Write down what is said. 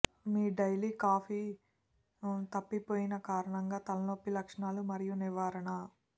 మీ daily coffee తప్పిపోయిన కారణంగా తలనొప్పి లక్షణాలు మరియు నివారణ